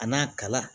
A n'a kala